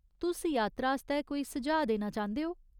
तुस यात्रा आस्तै कोई सुझाऽ देना चांह्दे ओ ?